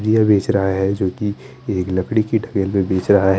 रिय बेच रहा है जो की एक लकड़ी के ठगेल में बेच रहा है।